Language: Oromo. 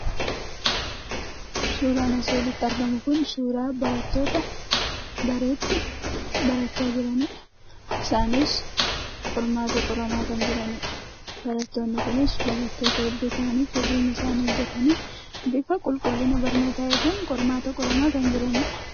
Suuraan asii olitti argamu kun, suuraa barattoota dareetti barachaa jiraniidha. Isaanis qormaata qoramaa kan jiraniidha. Barattoonni kunis barattoota hedduu fageenya isaani eeggatanii, bifa qulqullina barnoota eeguun qormaata qoramaa kan jiraniidha.